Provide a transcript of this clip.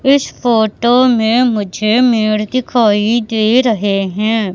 इस फोटो मे मुझे मेड़ दिखाई दे रहें हैं।